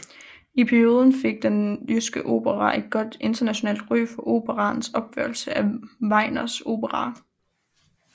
I perioden fik Den Jyske Opera et godt internationalt ry for operaens opførelser af Wagners operaer